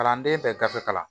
Kalanden bɛ gafe kalan